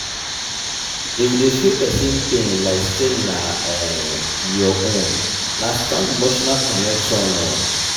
if you dey feel pesin pain like sey na um your own na strong emotional connection.